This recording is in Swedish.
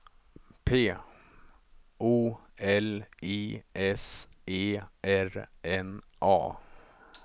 P O L I S E R N A